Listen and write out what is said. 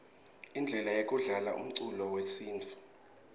indlela yekudlala umcuco wesintfu